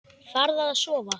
Farðu að sofa.